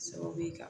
Sababu ye ka